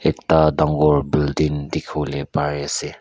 ekta dangor building dekhi bole pari ase.